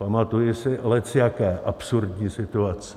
Pamatuji si lecjaké absurdní situace.